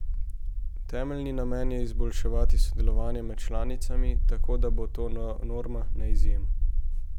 Temeljni namen je izboljšati sodelovanje med članicami, tako da bo to norma, ne izjema.